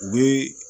U bi